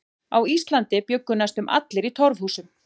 Á Íslandi bjuggu næstum allir í torfhúsum.